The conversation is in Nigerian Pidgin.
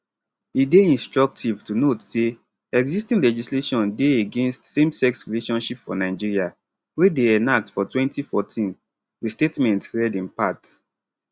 e dey instructive to note say existing legislation dey against same sex relationships for nigeria wey dey enacted for 2014 di statement read in part